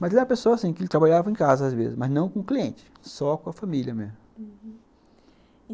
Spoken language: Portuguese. Mas ele era a pessoa assim, que ele trabalhava em casa às vezes, mas não com clientes, só com a família mesmo, uhum. E